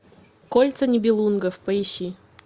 кольца нибелунгов поищи